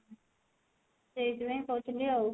ସେଇଥି ପାଇଁ କହୁଥିଲି ଆଉ